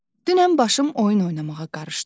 Dünən başım oyun oynamağa qarışdı.